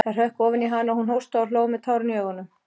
Það hrökk ofan í hana og hún hóstaði og hló með tárin í augunum.